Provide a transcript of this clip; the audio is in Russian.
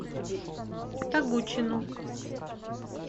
тогучину